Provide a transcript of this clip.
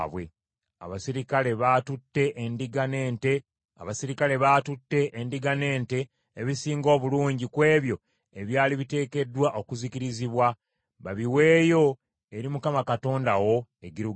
Abaserikale baatute endiga n’ente, ebisinga obulungi ku ebyo ebyali biteekeddwa okuzikirizibwa, babiweeyo eri Mukama Katonda wo e Girugaali.”